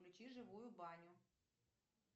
включи живую баню